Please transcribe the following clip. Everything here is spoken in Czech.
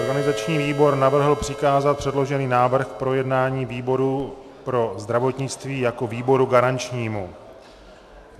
Organizační výbor navrhl přikázat předložený návrh k projednání výboru pro zdravotnictví jako výboru garančnímu.